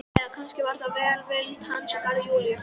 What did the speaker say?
Eða kannski var það aðeins velvild hans í garð Júlíu.